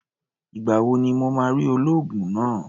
Ìgbà wo ni mo máa rí olóògùn náà?